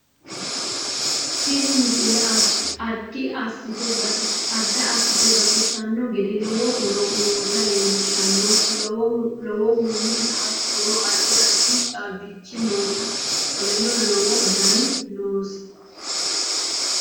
Tinni miisle addi assite baaxisanno geede loowo hooro noota lelshanoo loowohu haatonoo addi addi chabichii noota kooleno loowo daani noosii.